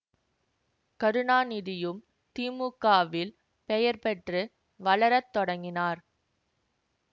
கருணாநிதியும் DMK வில் பெயர் பெற்று வளர தொடங்கினர்